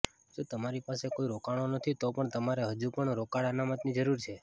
જો તમારી પાસે કોઈ રોકાણો નથી તો પણ તમારે હજુ પણ રોકડ અનામતની જરૂર છે